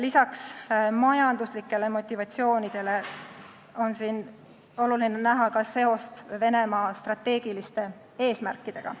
Lisaks majanduslikule motivatsioonile on siin oluline näha seost Venemaa strateegiliste eesmärkidega.